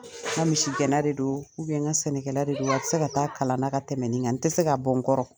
N ka misigɛnna de do n ka sɛnɛkɛla de do a tɛ se ka taa kalan na ka tɛmɛ nin kan n tɛ se ka bɔ n kɔrɔ.